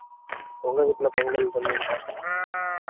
உங்க வீட்ல பொங்கல் பண்ணுவீங்களா?